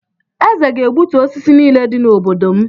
Eze ga-egbutu osisi niile dị n’obodo m.